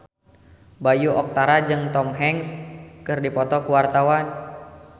Bayu Octara jeung Tom Hanks keur dipoto ku wartawan